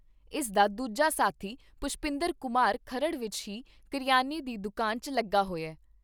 ਇਸਦਾ ਦੂਜਾ ਸਾਥੀ ਪੁਸ਼ਪਿੰਦਰ ਕੁਮਾਰ ਖਰੜ ਵਿੱਚ ਹੀ ਕਰਿਆਨੇ ਦੀ ਦੁਕਾਨ 'ਚ ਲੱਗਾ ਹੋਇਆ।